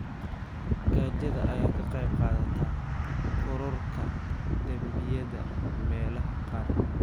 Gaajada ayaa ka qayb qaadata kororka dambiyada meelaha qaar.